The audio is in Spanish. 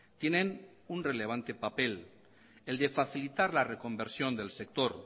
tienen un relevante papel el de facilitar la reconversión del sector